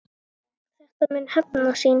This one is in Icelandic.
Þetta mun hefna sín.